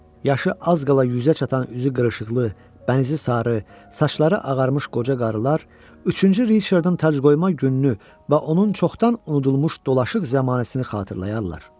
Yaşı az qala 100-ə çatan, üzü qırışıqlı, bənzi sarı, saçları ağarmış qoca qarılar üçüncü Riçardın tacqoyma gününü və onun çoxdan unudulmuş dolaşıq zəmanəsini xatırlayardılar.